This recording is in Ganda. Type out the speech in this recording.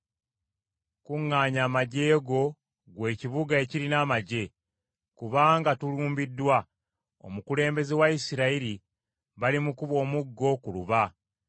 Kuŋŋaanya amaggye go, ggwe ekibuga ekirina amaggye, kubanga tulumbiddwa. Omukulembeze wa Isirayiri balimukuba omuggo ku luba.